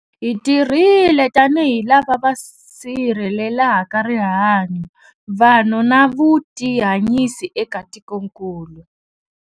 Hi tirhile tanihi lava va sirhelelaka rihanyu, vanhu na vutihanyisi eka tikokulu.